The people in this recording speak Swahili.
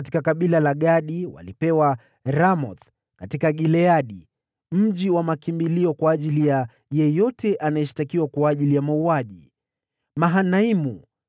kutoka kabila la Gadi walipewa, Ramothi katika Gileadi (mji wa makimbilio kwa ajili ya yeyote anayeshtakiwa kwa ajili ya mauaji), Mahanaimu,